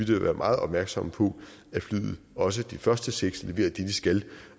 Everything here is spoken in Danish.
da være meget opmærksom på at flyene og også de første seks leverer det de skal